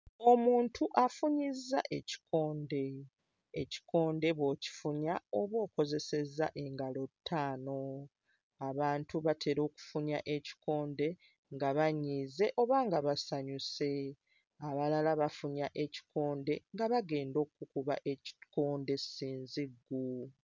Omuntu afunyizza ekikonde. Ekikonde bw'okifunya oba okozesezza engalo ttaano. Abantu batera okufunya ekikonde nga banyiize oba nga basanyuse. Abalala bafunya ekikonde nga bagenda okkukuba ekikonde ssinziggu.